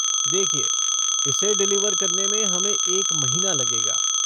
देखिये, इसे डिलीवर करने में हमें एक महीना लगेगा।